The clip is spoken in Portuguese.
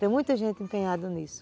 Tem muita gente empenhada nisso.